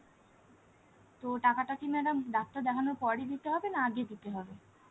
তো টাকাটা কি madam ডাক্তার দেখানোর পরই দিতে হবে না আগে দিতে হবে?